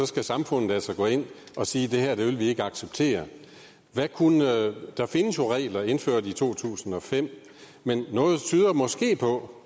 skal samfundet altså gå ind og sige det her vil vi ikke acceptere der findes regler indført i to tusind og fem men noget tyder måske på